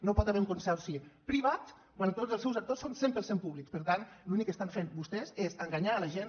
no hi pot haver un consorci privat quan tots els seus actors són cent per cent públics per tant l’únic que estan fent vostès és enganyar la gent